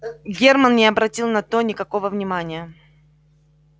германн не обратил на то никакого внимания